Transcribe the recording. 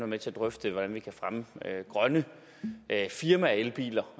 med til at drøfte hvordan vi kan fremme grønne firmaelbiler